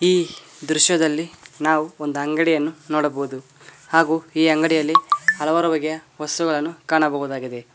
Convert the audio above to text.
ಈ ದೃಶ್ಯದಲ್ಲಿ ನಾವು ಒಂದು ಅಂಗಡಿಯನ್ನು ನೋಡಬಹುದು ಹಾಗೂ ಈ ಅಂಗಡಿಯಲ್ಲಿ ಹಲವಾರು ಬಗೆಯ ವಸ್ತುಗಳನ್ನು ಕಾಣಬಹುದಾಗಿದೆ.